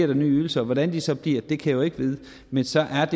der nye ydelser og hvordan de så bliver kan jeg jo ikke vide men så er